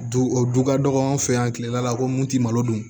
Du o du ka dɔgɔ anw fɛ yan kile da la ko mun ti malo dun